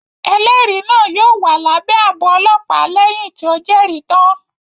Ẹlẹri náà yóò wà lábé ààbò ọlọpa lẹhin ti o Jeri tan